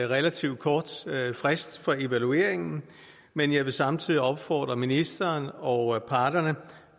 relativt kort frist for evalueringen men jeg vil samtidig opfordre ministeren og parterne